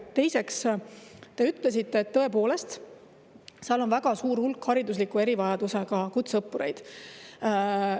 Teiseks, te ütlesite, et seal on väga suur hulk haridusliku erivajadusega kutseõppureid.